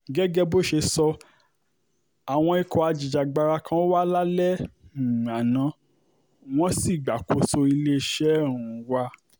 gẹ́gẹ́ bó ṣe sọ àwọn ikọ̀ ajìjàgbara kan wà lálẹ́ um àná wọ́n sì gbàkóso iléeṣẹ́ um wa